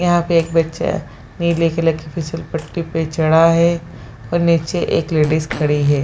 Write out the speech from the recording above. यहाँ पे एक बच्चा नीले कलर की फिसल पट्टी पे चढ़ा है और नीचे एक लेडीज खड़ी है।